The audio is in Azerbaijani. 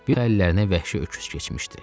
Bir də əllərinə vəhşi öküz keçmişdi.